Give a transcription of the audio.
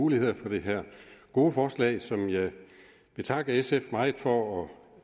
muligheder for det her gode forslag som jeg vil takke sf meget for at